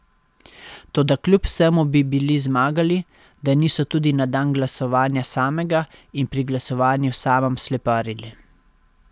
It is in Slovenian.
Toda kljub vsemu bi bili zmagali, da niso tudi na dan glasovanja samega in pri glasovanju samem sleparili.